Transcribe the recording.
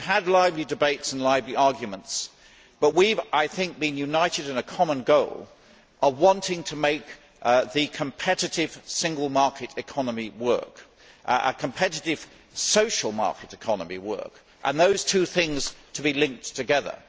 We have had lively debates and lively arguments, but we have been united in a common goal of wanting to make the competitive Single Market economy work, a competitive social market economy work, and for those two things to be linked together.